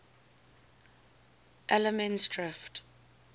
allemansdrift